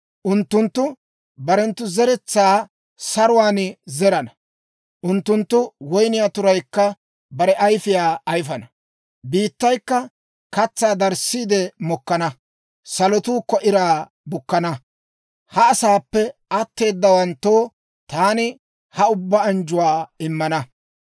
«Unttunttu barenttu zeretsaa saruwaan zerana; unttunttu woyniyaa turaykka bare ayfiyaa ayifana; biittaykka katsaa darissiide mokkana; salotuukka iraa bukkana. Ha asaappe atteedawanttoo taani ha ubbaa anjjuwaa immana.